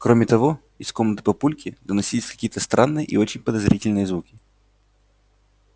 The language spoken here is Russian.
кроме того из комнаты папульки доносились какие-то странные и очень подозрительные звуки